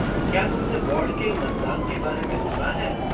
क्या तुमने वॉर्ड के मतदान के बारे में सुना है?